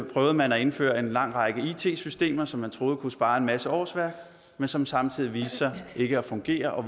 prøvede man at indføre en lang række it systemer som man troede kunne spare en masse årsværk men som samtidig viste sig ikke at fungere og